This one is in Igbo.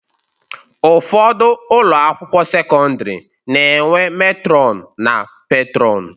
Ụfọdụ ụlọakwụkwọ sekọndịrị na-enwe metrọn na petrọn